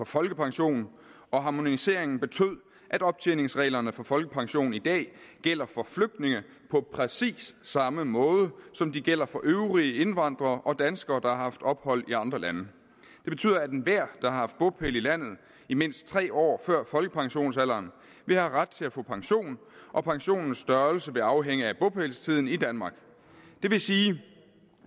folkepension og harmoniseringen betød at optjeningsreglerne for folkepension i dag gælder for flygtninge på præcis samme måde som de gælder for øvrige indvandrere og danskere der har haft ophold i andre lande det betyder at enhver der har haft bopæl i landet i mindst tre år før folkepensionsalderen vil have ret til at få pension og pensionens størrelse vil afhænge af bopælstiden i danmark det vil sige